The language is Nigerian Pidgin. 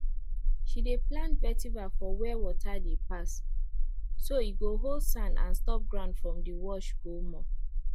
she dey plant vetiver for where water dey pass so e go hold sand and stop ground from dey wash go more